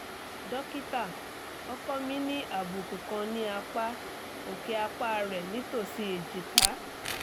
dokita ọkọ mi ní àbùkù kan ní apá òkè apá rẹ̀ nítòsí ejika